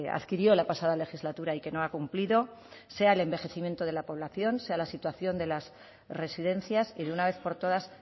adquirió la pasada legislatura y que no ha cumplido sea el envejecimiento de la población sea la situación de las residencias y de una vez por todas